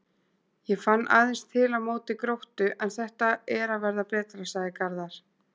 Ég fann aðeins til á móti Gróttu en þetta er að verða betra, sagði Garðar.